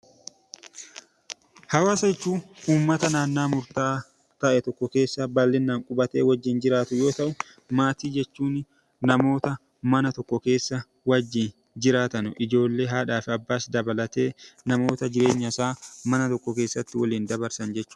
Hawaasa jechuun uummata naannawaa murtaawaa ta'e tokko keessa baay'inaan qubatee wajjin jiraatu yoo ta'u, maatii jechuun namoota mana tokko keessa wajjin jiraatan ijoollee, haadhaa fi abbaa dabalatee namoota jireenya isaa mana jireenyasaa mana tokko keessatti waliin dabarsan jechuudha.